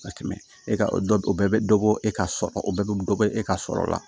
Ka tɛmɛ e ka o bɛɛ bɛ dɔ bɔ e ka sɔrɔ o bɛɛ bɛ dɔ bɔ e ka sɔrɔ la